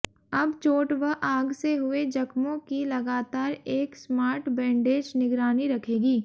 अब चोट व आग से हुए जख्मों की लगातार एक स्मार्ट बैंडेज निगरानी रखेगी